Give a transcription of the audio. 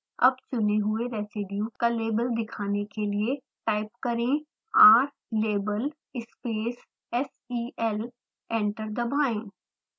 अब चुने हुए residue का label दिखाने के लिए टाइप करें rlabel space sel